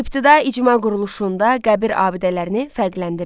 İbtidai icma quruluşunda qəbir abidələrini fərqləndirin.